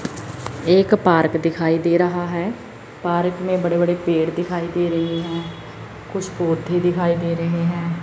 एक पार्क दिखाई दे रहा है पार्क में बड़े बड़े पेड़ दिखाई दे रहे हैं कुछ पौधे दिखाई दे रहे हैं।